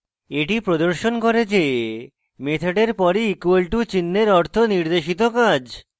এটি প্রদর্শন করে যে মেথডের পরে equal to চিন্হের অর্থ নির্দেশিত কাজ